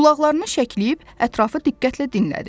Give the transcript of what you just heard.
Qulaqlarını şəkləyib ətrafı diqqətlə dinlədi.